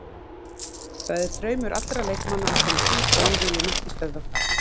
Það er draumur allra leikmanna að komast út og við viljum ekki stöðva það.